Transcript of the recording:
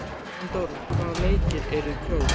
Jóndóra, hvaða leikir eru í kvöld?